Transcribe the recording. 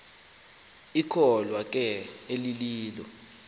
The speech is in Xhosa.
ikholwa ke elililo